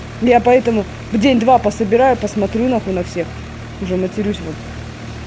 я поэтому в день два пособираю посмотрю на хуй на всех уже матерюсь